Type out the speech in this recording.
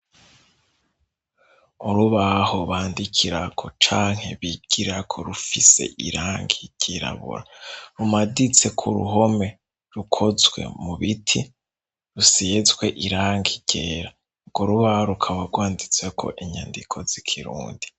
Urubaho bandikirako canke bigirako rufise irangi ryirabura rumaditse ku ruhome rukozwe mu biti rusizwe irang igera bgo rubaho rukaba rwanditse ko inyandiko z'ikirundi.